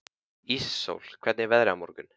Íssól, hvernig er veðrið á morgun?